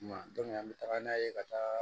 Kuma an bɛ taga n'a ye ka taa